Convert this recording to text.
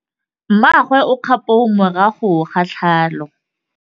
Mmagwe o kgapô morago ga tlhalô.